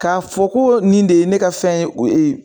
K'a fɔ ko nin de ye ne ka fɛn ye o e ye